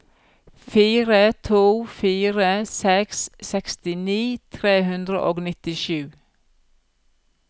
fire to fire seks sekstini tre hundre og nittisju